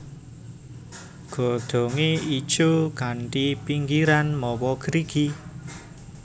Godhongé ijo kanthi pinggirian mawa grigi